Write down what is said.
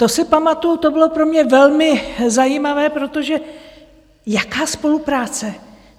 To si pamatuju, to bylo pro mě velmi zajímavé - protože jaká spolupráce?